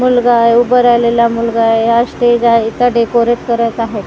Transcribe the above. मुलगा आहे उभं राहिलेला मुलगा आहे हा स्टेज आहे इथं डेकोरेट करत आहेत.